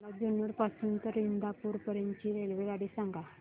मला जुन्नर पासून तर इंदापूर पर्यंत ची रेल्वेगाडी सांगा